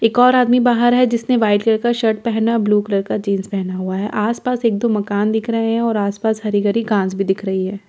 एक और आदमी बाहर है जिसने व्हाइट कलर का शर्ट पेहना ब्लू कलर का जीन्स पेहना हुआ है आस-पास एक दो मकान दिख रहे हैं और आस-पास हरी-गरी घांस भी दिख रही है।